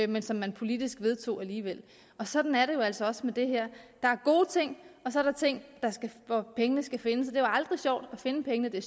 men som man politisk vedtog alligevel og sådan er det jo altså også med det her der er gode ting og så er der ting hvor pengene skal findes det er jo aldrig sjovt at finde pengene det er